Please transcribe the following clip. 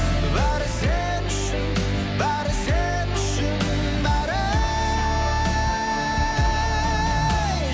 бәрі сен үшін бәрі сен үшін бәрі ей